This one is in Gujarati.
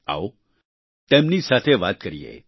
આવો તેમની સાથે વાત કરીએ